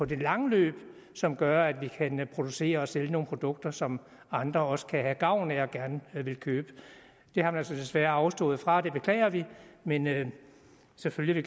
det lange løb som gør at vi kan producere og sælge nogle produkter som andre også kan have gavn af og gerne vil købe det har man så desværre afstået fra det beklager vi men selvfølgelig